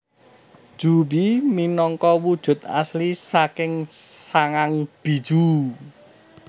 Juubi minangka wujud asli saking sangang bijuu